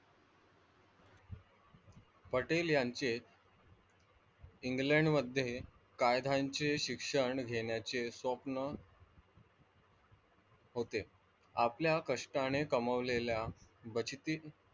पटेल यांचे, इंग्लंड मध्ये कायद्याचे शिक्षण घेण्याचे स्वप्न होते. आपल्या कष्टाने कमावलेल्या बचती,